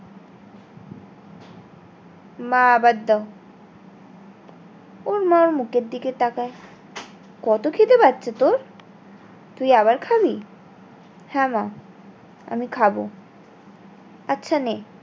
মা আবার দাও ওর মা ওর মুখের দিকে তাকায় কত খিদে পাচ্ছে তোর তুই আবার খাবি হ্যাঁ মা আমিঃ খাবো আচ্ছা নে